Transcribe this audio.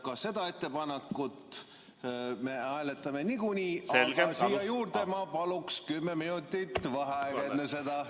Ka seda ettepanekut me hääletame niikuinii, aga ma paluks kümme minutit vaheaega enne seda.